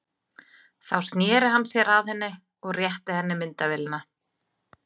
Þá sneri hann sér að henni og rétti henni myndavélina.